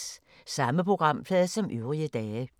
Samme programflade som øvrige dage